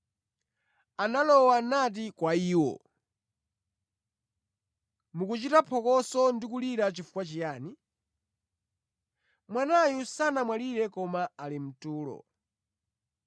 Analowa nati kwa iwo, “Mukuchita phokoso ndi kulira chifukwa chiyani? Mwanayu sanamwalire koma ali mtulo.”